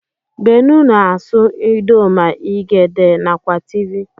Benue na asụ idoma, igede nakwa tiv.